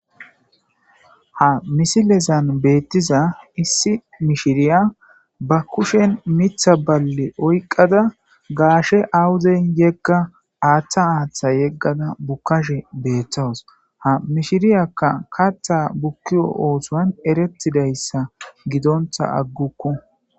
Ha missilezan beetiza issi mishshiriya ba keshshen miththa balle oyqqada gashshe awuden yegga aatha aaththa yeggada buukashe betawusu ha mishshiriyaka kaththa bukkiza oththon erretidayssa giddontta agguku.